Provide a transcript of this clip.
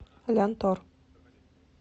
лянтор